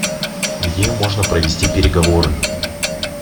где можно провести переговоры